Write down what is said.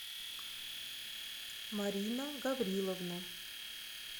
марина гавриловна